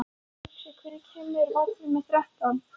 Uxi, hvenær kemur vagn númer þrettán?